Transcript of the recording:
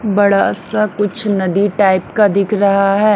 बड़ा सा कुछ नदी टाइप का दिख रहा है।